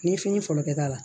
N'i ye fini fɔlɔ kɛ k'a la